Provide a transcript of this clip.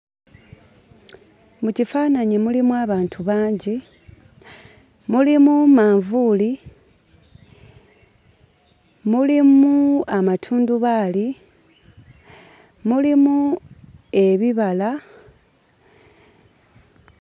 Mu kifaananyi mulimu abantu bangi, mulimu manvuuli, mulimu amatundubaali, mulimu ebibala...